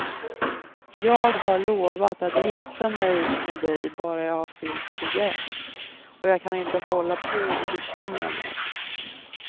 Jag har lovat att gifta mig med dig bara jag har fyllt tjugoett, och jag kan inte hålla på att bekymra mig.